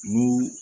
N ko